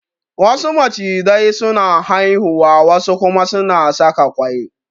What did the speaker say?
Wasu macizai su na haihuwa wa su kuma suna saka ƙwai